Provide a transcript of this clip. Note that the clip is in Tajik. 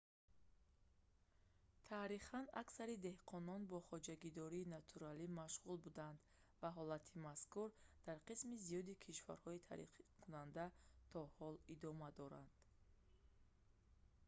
таърихан аксари деҳқонон бо хоҷагидории натуралӣ машғул буданд ва ҳолати мазкур дар қисми зиёди кишварҳои тараққикунанда то ҳол идома дорад